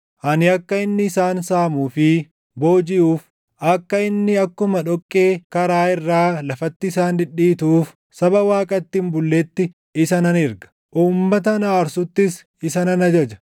Ani akka inni isaan saamuu fi boojiʼuuf akka inni akkuma dhoqqee karaa irraa lafatti isaan dhidhiituuf saba Waaqatti hin bulletti isa nan erga; uummata na aarsuttis isa nan ajaja.